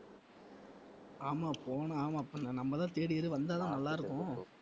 ஆமாம் போனா ஆமா அப்ப நம்ம தான் third year வந்தாதான் நல்லாயிருக்கும்